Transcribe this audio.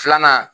Filanan